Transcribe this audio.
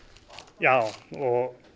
já og